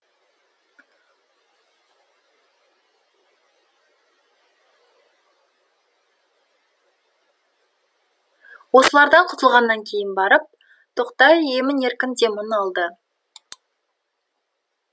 осылардан құтылғаннан кейін барып тоқтай емін еркін демін алды